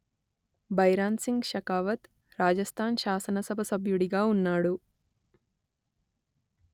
భైరాన్‌సింగ్ షెకావత్ రాజస్థాన్ శాసనసభ సభ్యుడిగా ఉన్నాడు